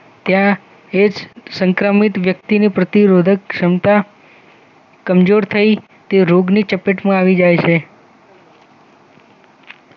ત્યાં એ જ સંક્રમિત વ્યક્તિનું પ્રતિરોધક ક્ષમતા કમજોર થઈ તે રોગની ચપેટમાં આવી જાય છે